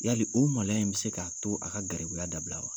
Yali o malo in bɛ se k'a to a ka garibuya la dabila wa?